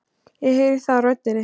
Ég heyri það á röddinni.